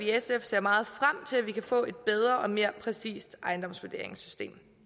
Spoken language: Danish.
sf ser meget frem til at vi kan få et bedre og mere præcist ejendomsvurderingssystem